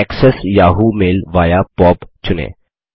access Yahoo mail via POP चुनें